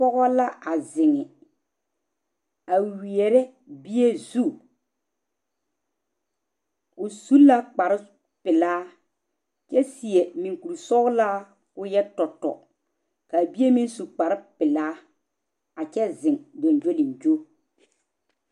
Pɔge la a zeŋ a wiɛre bie zu o su la kpare pelaa kyɛ seɛ moɔkur sɔglaa ko yɛ tɔtɔ kaa bie meŋ su kpare pelaa a kyɛ zeŋ gyan gyolegyo.